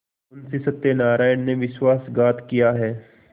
मुंशी सत्यनारायण ने विश्वासघात किया है